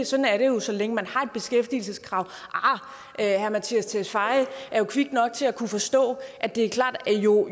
sådan er det jo så længe der er et beskæftigelseskrav arh herre mattias tesfaye er jo kvik nok til at kunne forstå at det er klart at jo